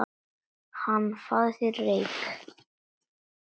Hana, fáðu þér reyk